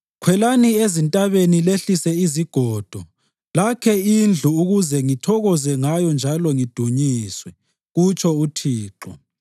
Khwelani ezintabeni lehlise izigodo lakhe indlu ukuze ngithokoze ngayo njalo ngidunyiswe,” kutsho uThixo.